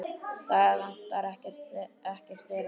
Það vantar ekkert þeirra.